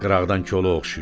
Qıraqdan kolu oxşayır.